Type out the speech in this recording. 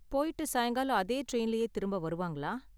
போய்ட்டு சாயங்காலம் அதே டிரைன்லயே திரும்ப வருவாங்களா?